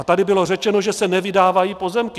A tady bylo řečeno, že se nevydávají pozemky.